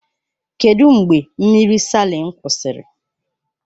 Kedụ mgbe mmiri Salịn kwụsịrị?